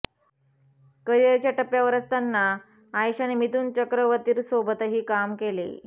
करिअरच्या एका टप्प्यावर असताना आयशाने मिथुन चक्रवतीर्सोबतही काम केले